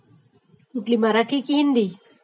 कुठली ग...मराठी कि हिंदी